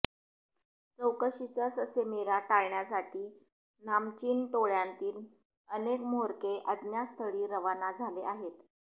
चौकशीचा ससेमिरा टाळण्यासाठी नामचिन टोळ्यांतील अनेक म्होरके अज्ञातस्थळी रवाना झाले आहेत